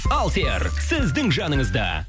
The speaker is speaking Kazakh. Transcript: алсер сіздің жаныңызда